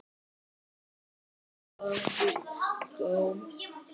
Ekkert lógó.